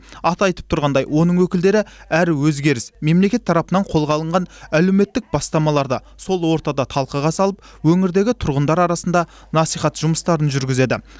аты айтып тұрғандай оның өкілдері әр өзгеріс мемлекет тарапынан қолға алынған әлеуметтік бастамаларды сол ортада талқыға салып өңірдегі тұрғындар арасында насихат жұмыстарын жүргізеді